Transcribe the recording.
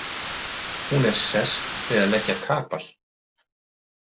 Hún er sest við að leggja kapal.